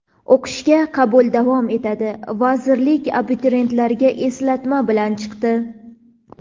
O‘qishga qabul davom etadi – vazirlik abituriyentlarga eslatma bilan chiqdi.